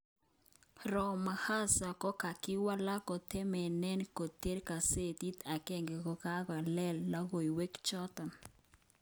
Ramaphosa kokawal ak kotemenen koter gazetit agenge kongalalen logowek ichaton